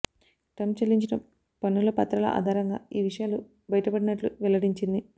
Trump చెల్లించిన పన్నుల పత్రాల ఆధారంగా ఈ విషయాలు బయటపడినట్లు వెల్లడించింది